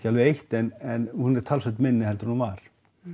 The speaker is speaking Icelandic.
alveg eytt en hún er talsvert minni en hún var